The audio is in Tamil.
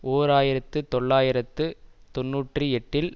ஓர் ஆயிரத்து தொள்ளாயிரத்து தொன்னூற்றி எட்டில்